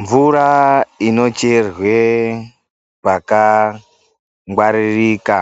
Mvura inocherwe pakangwaririka,